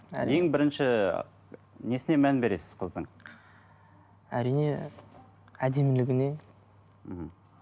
ең бірінші несіне мән бересіз қыздың әрине әдемілігіне мхм